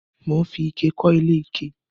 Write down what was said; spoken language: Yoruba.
Mò ń fi ike kọ́lé ike